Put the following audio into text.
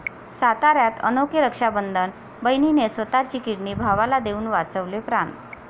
साताऱ्यात अनोखे रक्षाबंधन, बहिणीने स्वतःची किडनी भावाला देऊन वाचवले प्राण